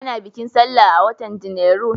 Ana bikin sallah a watan Janairu.